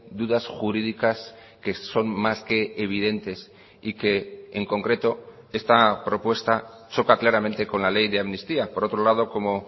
dudas jurídicas que son más que evidentes y que en concreto esta propuesta choca claramente con la ley de amnistía por otro lado como